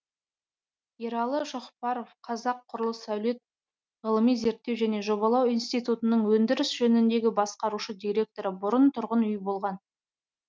ералы шоқпаров қазақ құрылыс сәулет ғылыми зерттеу және жобалау институтының өндіріс жөніндегі басқарушы директоры бұрын тұрғын үй болған